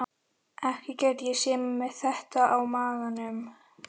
Ekki gæti ég séð mig með þetta á maganum.